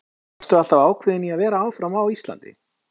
Varstu alltaf ákveðin í að vera áfram á Íslandi?